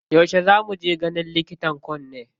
Yauce za mu je ganin likitan kunne?